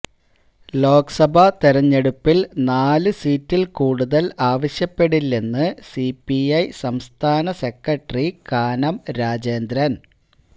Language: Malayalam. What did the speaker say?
ലോക്സഭാ തെരഞ്ഞെടുപ്പില് നാല് സീറ്റില് കൂടുതല് ആവശ്യപ്പെടില്ലെന്ന് സിപിഐ സംസ്ഥാന സെക്രട്ടറി കാനം രാജേന്ദ്രന്